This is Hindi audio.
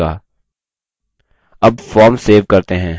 अब form सेव करते हैं